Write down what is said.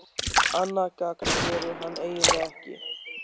Annað gagn gerir hann eiginlega ekki.